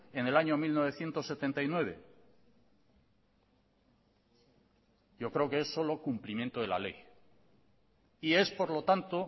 en el año mil novecientos setenta y nueve yo creo que es solo cumplimiento de la ley y es por lo tanto